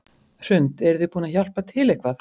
Hrund: Eruð þið búin að hjálpa til eitthvað?